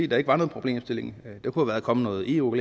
der ikke var nogen problemstilling der kunne være kommet noget eu